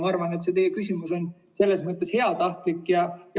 Ma arvan, et teie küsimus on selles mõttes heatahtlik.